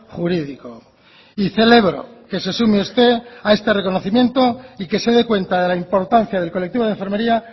jurídico y celebro que se sume usted a este reconocimiento y que se dé cuenta de la importancia del colectivo de enfermería